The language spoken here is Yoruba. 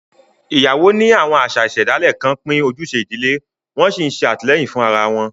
Ìyàwó ní àwọn àṣà ìṣẹ̀dálẹ̀ kan pín ojúṣe ìdílé, wọ́n sì ń ṣètìlẹ́yìn fún ara wọn.